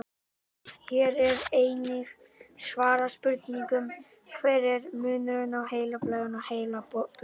Hér er einnig svarað spurningunum: Hver er munurinn á heilablæðingu og heilablóðfalli?